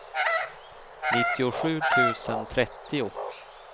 nittiosju tusen trettio